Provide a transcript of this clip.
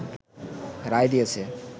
রায় দিয়েছে